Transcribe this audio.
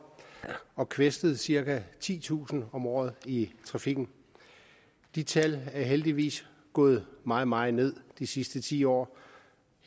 og kvæstet cirka titusind om året i trafikken de tal er heldigvis gået meget meget ned de sidste ti år